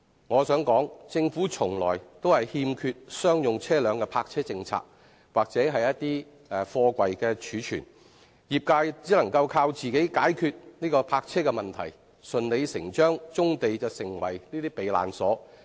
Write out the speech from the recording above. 我想說，政府從來都欠缺商用車輛的泊車政策或貨櫃貯存政策，業界只能靠自己解決泊車問題，而棕地順理成章成為了這些車輛的"避難所"。